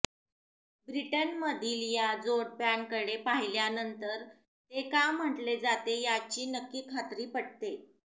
ब्रिटनमधील या जोडप्याकडे पाहिल्यानंतर ते का म्हटले जाते याची नक्की खात्री पटते